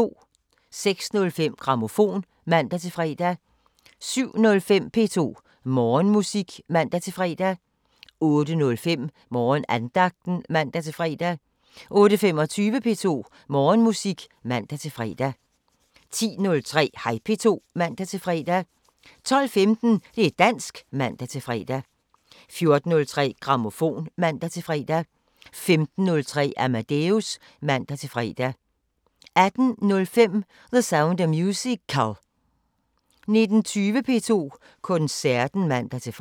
06:05: Grammofon (man-fre) 07:05: P2 Morgenmusik (man-fre) 08:05: Morgenandagten (man-fre) 08:25: P2 Morgenmusik (man-fre) 10:03: Hej P2 (man-fre) 12:15: Det´ dansk (man-fre) 14:03: Grammofon (man-fre) 15:03: Amadeus (man-fre) 18:05: The Sound of Musical 19:20: P2 Koncerten (man-fre)